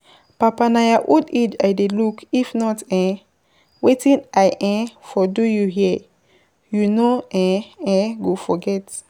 Papa na your old age I dey look if not um wetin I um for do you here, you no um um go forget.